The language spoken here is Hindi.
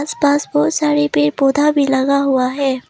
आसपास बहुत सारे पेड़ पौधा भी लगा हुआ है।